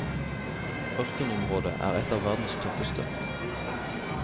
Ørkenområdet er et av verdens tøffeste.